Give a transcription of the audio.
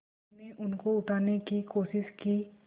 मैंने उनको उठाने की कोशिश की